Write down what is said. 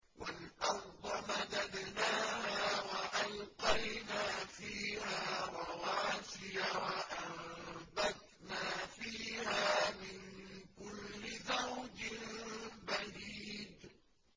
وَالْأَرْضَ مَدَدْنَاهَا وَأَلْقَيْنَا فِيهَا رَوَاسِيَ وَأَنبَتْنَا فِيهَا مِن كُلِّ زَوْجٍ بَهِيجٍ